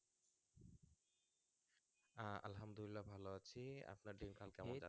আহ আলহামদুলিল্লাহ ভালো আছি আপনার দিনকাল কেমন